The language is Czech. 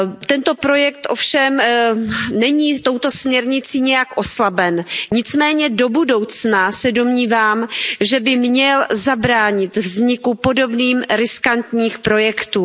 Tento projekt ovšem není touto směrnicí nijak oslaben, nicméně do budoucna se domnívám, že by se mělo zabránit vzniku podobných riskantních projektů.